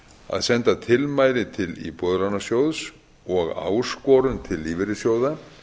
að senda tilmæli til íbúðalánasjóðs og áskorun til lífeyrissjóða